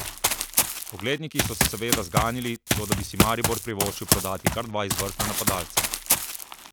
Ogledniki so se seveda zganili, toda bi si Maribor privoščil prodati kar dva izvrstna napadalca?